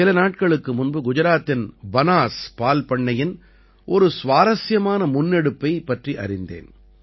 சில நாட்களுக்கு முன்பு குஜராத்தின் பனாஸ் பால்பண்ணையின் ஒரு சுவாரஸ்யமான முன்னெடுப்பைப் பற்றி அறிந்தேன்